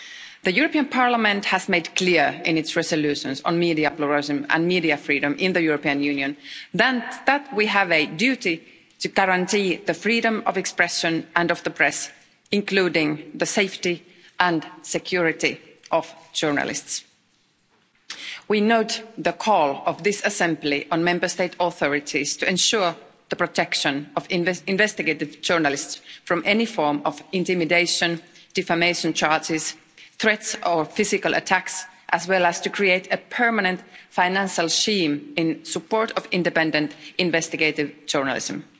The European Parliament has made clear in its resolutions on media pluralism and media freedom in the European Union that we have a duty to guarantee the freedom of expression and of the press, including the safety and security of journalists. We note the call of this assembly on Member State authorities to ensure the protection of investigative journalists from any form of intimidation, defamation charges, threats or physical attacks, as well as to create a permanent financial scheme in support of independent investigative journalism.